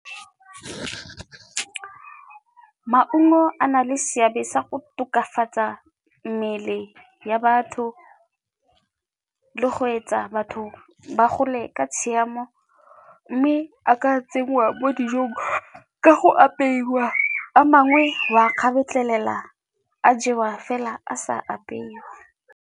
Maungo a na le seabe sa go tokafatsa mmele ya batho le go etsa batho ba go le ka tshiamo mme a ka tsenngwa mo dijong ka go apeiwa, a mangwe wa a kgabetlhelela a jewa fela a sa apeiwa.